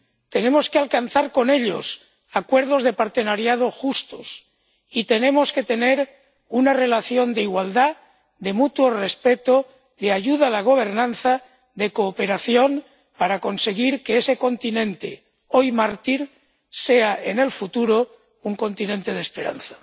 Tenemos que alcanzar con ellos acuerdos de partenariado justos y tenemos que tener una relación de igualdad, de mutuo respeto, de ayuda a la gobernanza, de cooperación, para conseguir que ese continente, hoy mártir, sea en el futuro un continente de esperanza.